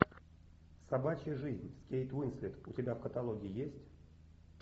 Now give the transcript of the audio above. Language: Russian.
собачья жизнь с кейт уинслет у тебя в каталоге есть